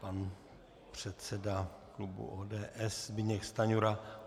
Pan předseda klubu ODS Zbyněk Stanjura.